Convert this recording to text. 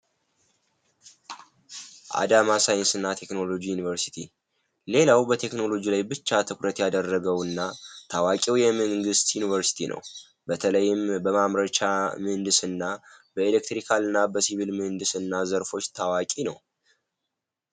አዳማ ሳይንስና ቴክኖሎጂ ኢንስቲትዩት ዩንቨርስቲው በቴክኖሎጂ ብቻ ትኩረት ያደረገውና ታዋቂው የምህንድስና ታዋቂ የመንግስት ዩኒቨርሲቲ ነው በተለይም ማምረቻ በኬሚካልና የኤሌክትሪካል ምህንድስና ታዋቂ ነው።